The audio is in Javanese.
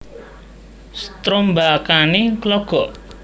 Strombakane logok